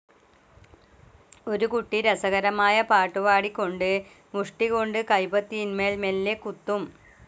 ഒരു കുട്ടി രസകരമായ പാട്ടുപാടിക്കൊണ്ട് മുഷ്ടികൊണ്ട് കൈപത്തിയിന്മേൽ മെല്ലെ കുത്തും.